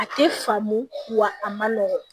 A tɛ faamu wa a man nɔgɔn